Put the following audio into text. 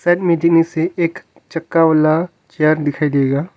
में से एक चक्का वाला चेयर दिखाई देगा।